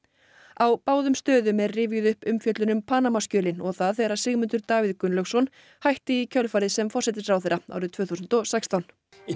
á báðum stöðum er rifjuð upp umfjöllun um Panamaskjölin og það þegar Sigmundur Davíð Gunnlaugsson hætti í kjölfarið sem forsætisráðherra árið tvö þúsund og sextán í